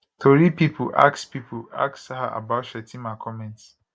tori pipo ask pipo ask her about shettima comments